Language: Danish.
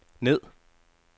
ned